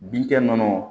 Bin kɛ ninnu